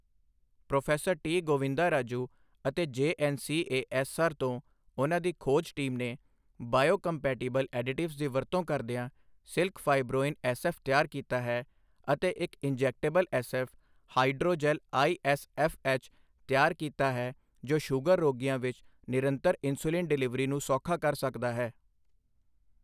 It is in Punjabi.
ਪ੍ਰੋ ਟੀ ਗੋਵਿੰਦਾਰਾਜੂ ਅਤੇ ਜੇਐੱਨਸੀਏਐੱਸਆਰ ਤੋਂ ਉਨ੍ਹਾਂ ਦੀ ਖੋਜ ਟੀਮ ਨੇ ਬਾਇਓਕੰਪੈਟੀਬਲ ਐਡਿਟਿਵਜ਼ ਦੀ ਵਰਤੋਂ ਕਰਦਿਆਂ ਸਿਲਕ ਫਾਈਬ੍ਰੋਇਨ ਐੱਸਐੱਫ਼ ਤਿਆਰ ਕੀਤਾ ਹੈ ਅਤੇ ਇੱਕ ਇੰਜੈਕਟੇਬਲ ਐੱਸਐੱਫ਼, ਹਾਈਡ੍ਰੋਜੈਲ ਆਈਐੱਸਐੱਫ਼ਐੱਚ, ਤਿਆਰ ਕੀਤਾ ਹੈ ਜੋ ਸ਼ੂਗਰ ਰੋਗੀਆਂ ਵਿੱਚ ਨਿਰੰਤਰ ਇਨਸੁਲਿਨ ਡਿਲਿਵਰੀ ਨੂੰ ਸੌਖਾ ਕਰ ਸਕਦਾ ਹੈ।